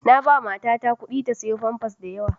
Na ba mata ta kuɗi ta sayo famfas da yawa